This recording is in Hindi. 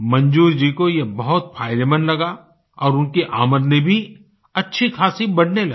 मंजूर जी को ये बहुत फायदेमंद लगा और उनकी आमदनी भी अच्छी ख़ासी बढ़ने लगी